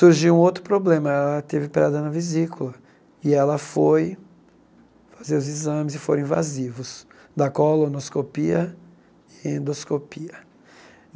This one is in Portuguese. Surgiu um outro problema, ela teve pedra na vesícula e ela foi fazer os exames e foram invasivos da colonoscopia e endoscopia.